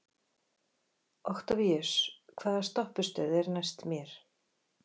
Októvíus, hvaða stoppistöð er næst mér?